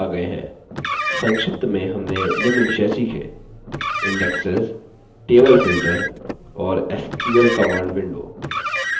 संक्षिप्त में हमने निम्न विषय सीखें: